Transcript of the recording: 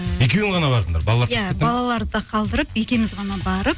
екеуің ғана бардыңдар балаларды қалдырып екеуіміз ғана барып